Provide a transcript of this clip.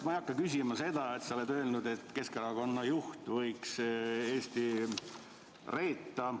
Ma ei hakka küsima selle kohta, et sa oled öelnud, et Keskerakonna juht võiks Eesti reeta.